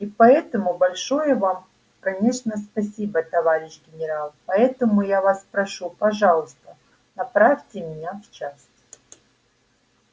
и поэтому большое вам конечно спасибо товарищ генерал поэтому я вас прошу пожалуйста направьте меня в часть